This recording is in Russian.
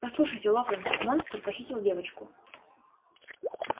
послушайте локонс монстр похитил девочку